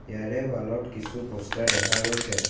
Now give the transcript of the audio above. ইয়াৰে ৱালত কিছু প'ষ্টাৰ দেখা গৈছে।